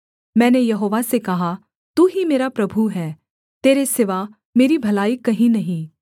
मैंने यहोवा से कहा तू ही मेरा प्रभु है तेरे सिवा मेरी भलाई कहीं नहीं